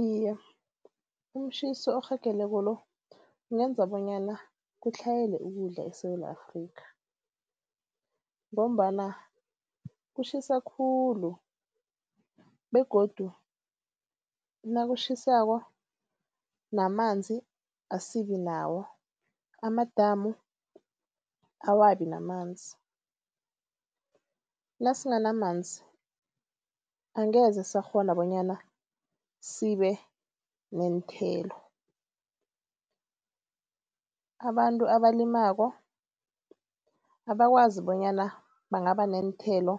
Iye, umtjhiso orhageleko lo kungenza bonyana kutlhayela ukudla eSewula Afrikha ngombana kutjhisa khulu begodu nakutjhisako namanzi asibinawo, amadamu awabi namanzi. Nasinganamanzi angeze sakghona bonyana sibe neenthelo. Abantu abalimako abakwazi bonyana bangaba neenthelo,